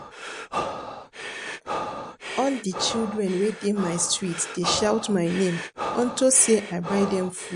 All the children wey dey my street dey shout my name unto say I buy dem food